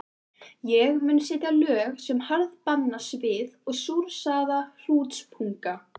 Ég mun setja lög sem harðbanna svið og súrsaða hrútspunga.